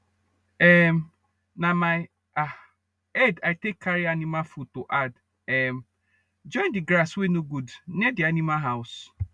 um na my ahh head i take carry animal food to add um join d grass wey nor good near d animal house